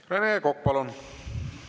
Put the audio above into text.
Rene Kokk, palun!